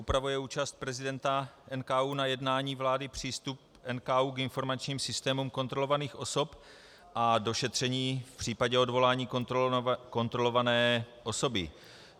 Upravuje účast prezidenta NKÚ na jednání vlády, přístup NKÚ k informačním systémům kontrolovaných osob a došetření v případě odvolání kontrolované osoby.